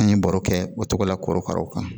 An ye baro kɛ o cogo la korokaraw kan